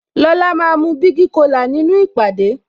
Lola máa mu bigi cola nínú ìpàdé